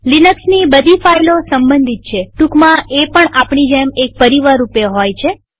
લિનક્સની બધી ફાઈલો સંબંધિત છેટુકમાં એ પણ આપણી જેમ એક પરિવાર રૂપે હોય છે